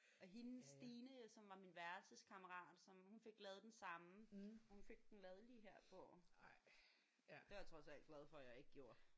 Og hende Stine som var min værelseskammerat som hun fik lavet den samme. Hun fik den lavet lige her på. Det er jeg trods alt glad for at jeg ikke gjorde